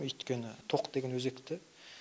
өйткені тоқ деген өзекті